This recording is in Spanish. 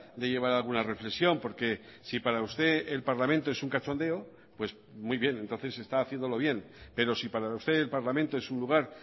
de llevar a alguna reflexión porque si para usted el parlamento es un cachondeo pues muy bien entonces está haciéndolo bien pero si para usted el parlamento es un lugar